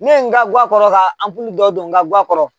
Ne ye n ka guwan kɔrɔ ka dɔ don n ka guwan kɔrɔ